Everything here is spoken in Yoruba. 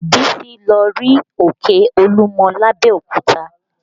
Bísí lọ rí òkè Olúmọ lábẹ́òkúta